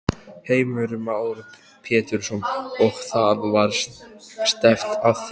Heimir Már Pétursson: Og það var stefnt að því?